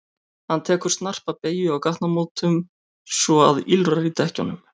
Hann tekur tekur snarpa beygju á gatnamótum svo að ýlfrar í dekkjunum.